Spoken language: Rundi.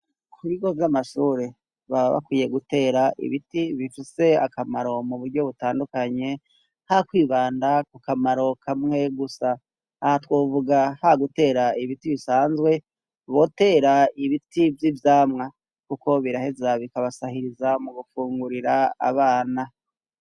Ku bigo vy'amashure baba bakwiye gutera ibiti bifise akamaro mu buryo butandukanye ha kwibanda ku kamaro kamwe gusa. Aha twovuga ha gutera ibiti bisanzwe botera ibiti vy'ivyamwa. Kuko biraheza bikabasahiriza mu gufungurira abana.